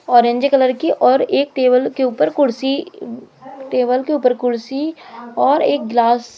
orange colour की और एक टेबल के ऊपर कुर्सी टेबल के ऊपर कुर्सी और एक ग्लास --